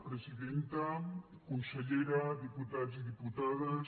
presidenta consellera diputats i diputades